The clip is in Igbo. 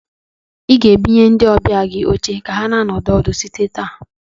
Ị gana ebunye ndi ọbịa gị oche ka ha nọdụ ọdụ site taa.